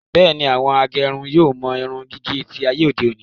Bẹ́ẹ̀ni, àwọn agẹrun yóò mọ irun gígé tí ayé òde òni